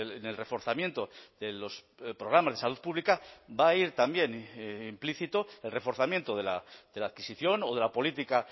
en el reforzamiento de los programas de salud pública va a ir también implícito el reforzamiento de la adquisición o de la política